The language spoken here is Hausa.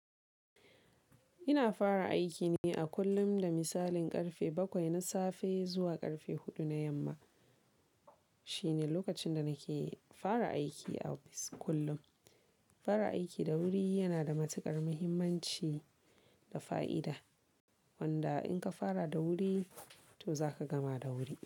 Ina fara aiki ne a kullum, da misalin ƙarfe bakwai na safe zuwa ƙarfe huɗu na yamma. Shine lokacin da nake fara aiki a ofis kullum. Fara aiki da wuri yana da matuƙar muhimmanci da fa'ida, wanda in ka fara da wuri, to za ka gama da wuri.